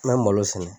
An bɛ malo sɛnɛ